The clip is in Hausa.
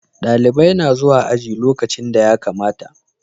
Dalibai na zuwa aji lokacin da ya kamata